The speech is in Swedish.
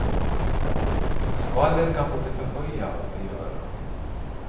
Skvaller kan både förhöja och förgöra.